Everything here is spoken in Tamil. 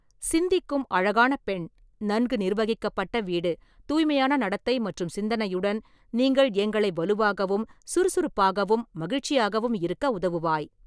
சிந்திக்கும் அழகான பெண், நன்கு நிர்வகிக்கப்பட்ட வீடு, தூய்மையான நடத்தை மற்றும் சிந்தனையுடன், நீங்கள் எங்களை வலுவாகவும், சுறுசுறுப்பாகவும், மகிழ்ச்சியாகவும் இருக்க உதவுவாய்.